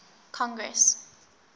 congress